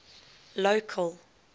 local